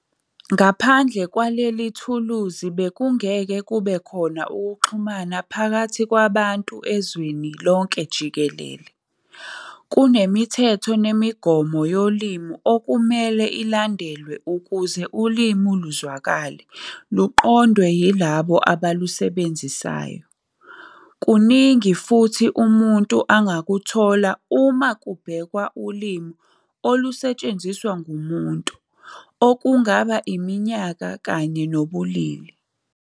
Ngaphandle kwalelithuluzi bekungeke kube khona ukuxhumana phakathi kwabantu ezweni lonke jikelele. Kunemithetho nemigomo yolimi okumelwe ilandelwe ukuze ulimi luzwakale, luqondwe yilabo abalusebenzisayo. Kunungi futhi umuntu angakhuthola uma kubhekwa ulimi olusetshenziswa ngumuntu, okungaba iminyaka kanye nobulili.